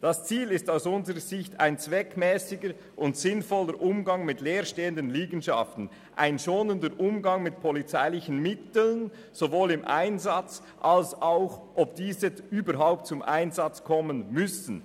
Das Ziel ist aus unserer Sicht ein zweckmässiger und sinnvoller Umgang mit leer stehenden Liegenschaften, zudem ein schonender Umgang mit polizeilichen Mitteln, sowohl im Einsatz als auch bei der Beurteilung, ob diese überhaupt eingesetzt werden müssen.